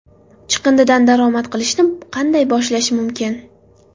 Chiqindidan daromad qilishni qanday boshlash mumkin?